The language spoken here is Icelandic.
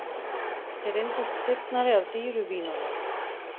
Þeir reyndust hrifnari af dýru vínunum